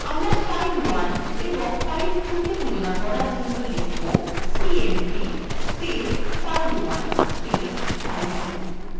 আমরা file1 এবং file2 cmp তুলনা করার জন্য লিখব cmp file1 file2